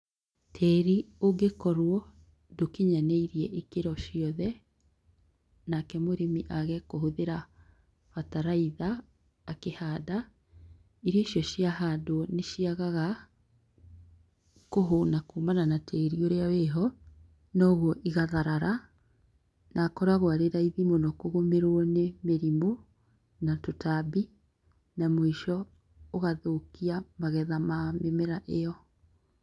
Tĩĩri ũngĩkorwo ndũkinyanĩrie ikĩro ciothe, nake mũrĩmi age kũhũthĩra bataraitha akĩhanda, irio icio ciahandwo nĩciagaga kũhũna kumana na tĩĩri ũrĩa wĩho, nogwu igatharara nakoragwo arĩraithi mũno kũgũmĩrwo nĩ mĩrimũ na tũtambi, na mũico ũgathũkia magetha ma mĩmera ĩyo.